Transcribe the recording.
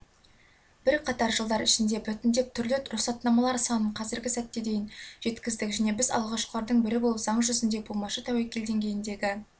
бірқатар жылдар ішінде біртіндеп түрлі рұқсатнамалар санын қазіргі сәтте дейін жеткіздік және біз алғашқылардың бірі болып заң жүзінде болмашы тәуекел деңгейіндегі